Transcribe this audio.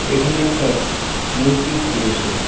এখানে একটা মসজিদ রয়েছে.